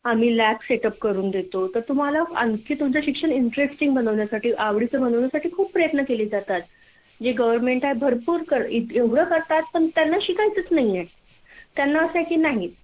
आम्ही lab setup करून देतो तर तुम्हाला आणखी तुमच शिक्षण मजेदार बनवण्यासाठी आवडीच बनवण्यासाठी खूप प्रयत्न केले जातात जे सरकार आहे भरपूर करतात एवढ करतात पण त्यांना शिकायचच नाहीय त्यांना असय की नाही